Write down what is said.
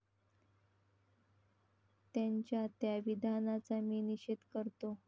त्यांच्या त्या विधानाचा मी निषेध करतो.